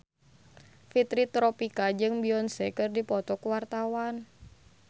Fitri Tropika jeung Beyonce keur dipoto ku wartawan